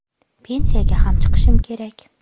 Pensiyaga ham chiqishim kerak.